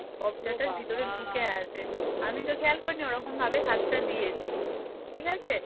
আমি তো খেয়াল করিনি ওরকম ভাবে হাতটা দিয়েছি ঠিক আছে